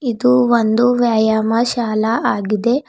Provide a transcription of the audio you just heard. ಇದು ಒಂದು ವ್ಯಾಯಾಮ ಶಾಲಾ ಆಗಿದೆ.